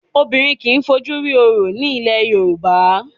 Obìnrin kì í fojú rí Orò ní ilẹ̀ Yorùbá.